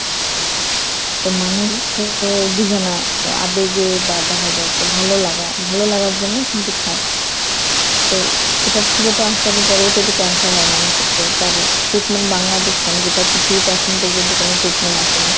তো মানুষতো বুঝে না। আবেগে বা দেখা যায় যে ভালোলাগা ভালোলাগার জন্যই কিন্তু খায়। তো এটার থেকে তো আস্তে আস্তে পরবর্তীতে Cancer হয় মানুষের যার treatment বাংলাদেশ কেন গোটা পৃথিবীতে এখন পর্যন্ত কোনো ট্রিটমেন্ট আসে নাই।